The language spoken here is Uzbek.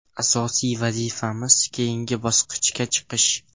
Asosiy vazifamiz keyingi bosqichga chiqish.